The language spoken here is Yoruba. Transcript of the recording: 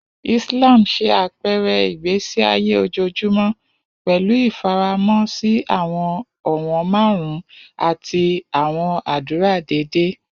Islam ṣe apẹrẹ igbesi aye ojoojumọ, pẹlu ifaramo si awọn ọwọn marun ati awọn adura deede.